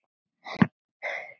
foldin geymi fjötur sinn.